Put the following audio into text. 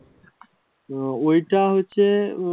ওইটা হচ্ছে উম